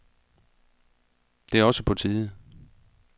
Det er også på tide.